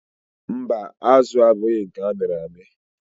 Mba, azụ a abụghị nke amịrị amị.